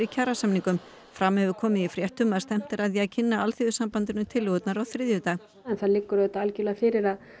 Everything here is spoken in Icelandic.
kjarasamningum fram hefur komið í fréttum að stefnt er að því að kynna Alþýðusambandinu tillögurnar á þriðjudag en það liggur auðvitað algjörlega fyrir að